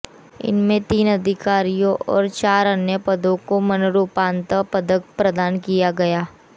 इनमें तीन अधिकारीयों और चार अन्य पदों को मरणोपरांत पदक प्रदान किया गया